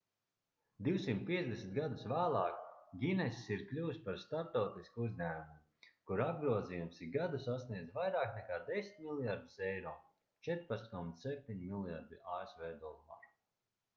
250 gadus vēlāk guinness ir kļuvis par starptautisku uzņēmumu kura apgrozījums ik gadu sasniedz vairāk nekā 10 miljardus euro 14,7 mljrd. asv dolāru